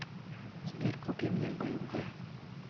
сбер купи мне бмв